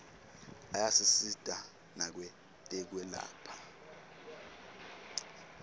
ayasisita nakwetekwelapha